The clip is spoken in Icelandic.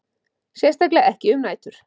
Sérstaklega ekki um nætur.